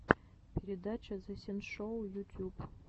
передача зэ синшоу ютюб